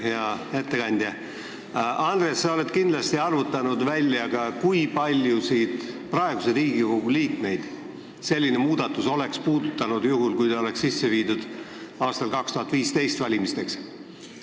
Hea ettekandja Andres, sa oled kindlasti välja arvutanud, kui paljusid praeguseid Riigikogu liikmeid selline muudatus oleks puudutanud juhul, kui see oleks tehtud enne 2015. aasta valimisi.